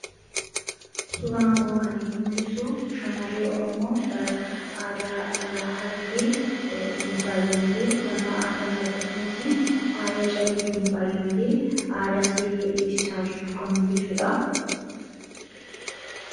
suraankoon kan inni mul'isu shamarree oromoo aadaa harargeetiin faayyamte ufannaa aadaafi akkasumas faayya calleetii faayyamte aadaasi beeksisaa jirtu kan mul'isuudha